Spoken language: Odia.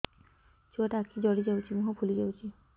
ଛୁଆଟା ଆଖି ଜଡ଼ି ଯାଉଛି ମୁହଁ ଫୁଲି ଯାଉଛି